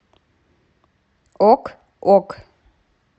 ок ок